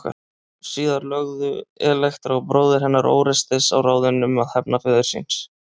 Síðar lögðu Elektra og bróðir hennar Órestes á ráðin um að hefna föður síns.